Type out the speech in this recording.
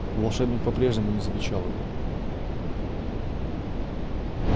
волшебник по-прежнему не замечал его